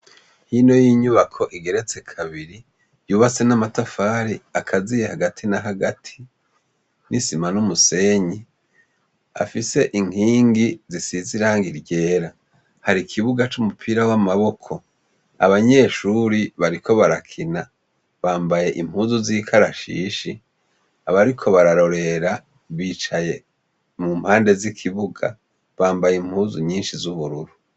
Hino yinyubako igeretse kabiri ikaziye namatafari hagati nisima numusenyi afise inkingi zisize irangi ryera hari ikibuga c’umupira w’amaboko abanyeshure bariko barakina bambaye impuzu z’ikarashishi abariko bararorera bicaye mu mpande z’ikibuga bambaye impuzu nyinshi z’ubururu.